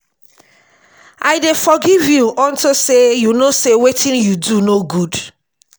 i dey forgive you unto say you know say wetin you do no good